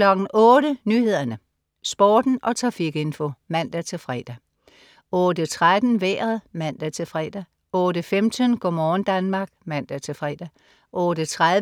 08.00 Nyhederne, Sporten og trafikinfo (man-fre) 08.13 Vejret (man-fre) 08.15 Go' morgen Danmark (man-fre)